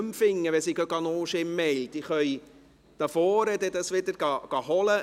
Wenn Sie in Ihren Mails suchen, können Sie diesen wieder hervorholen.